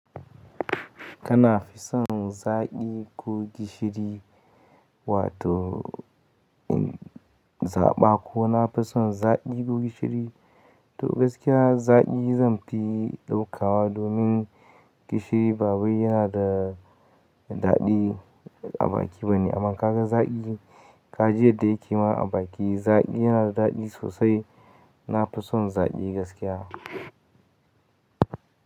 Kana fison zaƙi ko gishiri? Wato in zaɓa ko na fi son zaƙi ko gishiri, to gaskiya zaƙi zanfi ɗaukawa domin gishiri ba wai yana da daɗi a baki bane. Amma kaga zaƙi ka ji yadda yake ma a baki, zaƙi yana da daɗi sosai. Na fi son zaƙi gaskiya.